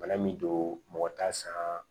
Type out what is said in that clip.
Bana min don mɔgɔ t'a san